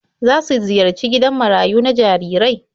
Za su ziyarci gidan marayu na jarirai?